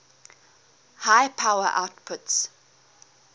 high power outputs